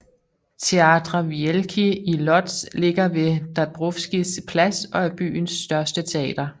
Teatr Wielki i Łódź ligger ved Dąbrowskis plads og er byens største teater